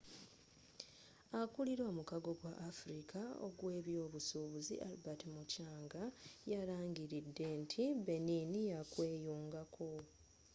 akulira omukago gw'afrika ogw'ebyobusuubuzi albert muchanga yalangiridde nti benin yakweyungako